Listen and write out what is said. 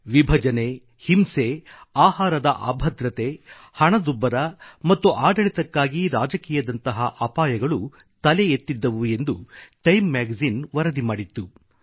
ವಿಭಜನೆ ಹಿಂಸೆ ಆಹಾರದ ಅಭದ್ರತೆ ಹಣದುಬ್ಬರ ಮತ್ತು ಆಡಳಿತಕ್ಕಾಗಿ ರಾಜಕೀಯದಂತಹ ಅಪಾಯಗಳು ತಲೆ ಎತ್ತಿದ್ದವು ಎಂದು ಟೈಮ್ ಮ್ಯಾಗಜಿನ್ ವರದಿ ಮಾಡಿತ್ತು